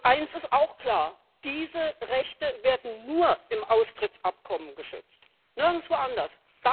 Eins ist klar Diese Rechte werden nur im Austrittsabkommen geschützt, nirgendwo anders.